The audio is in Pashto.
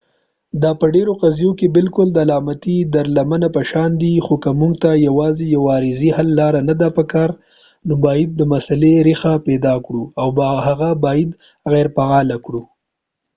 دا په ډېرو قضیو کې بالکل د علامتي درملنه په شان ده خو که موږ ته یواځې یو عارضي حل لاره نه ده پکار نو موږ باید د مسلې رېښه پیدا کړو او هغه باید غېرفعاله کړو